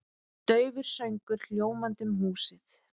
Daufur söngur hljómandi um húsið.